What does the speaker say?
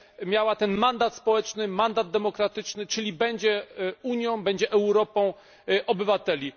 miała mandat społeczny, mandat demokratyczny, czyli będzie Unią, będzie Europą obywateli.